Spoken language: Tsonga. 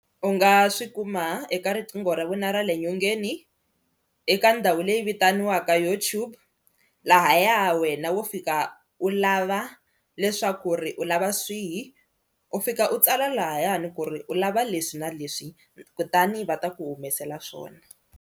U nga swi kuma eka riqingho ra vona ra le nyongeni eka ndhawu leyi vitaniwaka YouTube lahaya wena wo fika u lava leswaku ri u lava swihi u fika u tsala lahayani ku ri u lava leswi na leswi kutani va ta ku humesela swona.